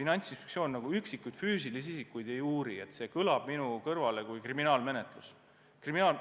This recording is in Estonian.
Finantsinspektsioon nagu üksikuid füüsilisi isikuid ei uuri, see kõlab minu kõrvale kui kriminaalmenetlus.